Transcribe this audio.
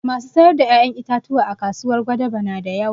Masu sayar da ƴaƴan itatuwa a kasuwar gwadabe na da yawa